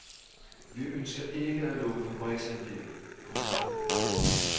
Vi ønsker ikke at lukke fabriksanlæg. punktum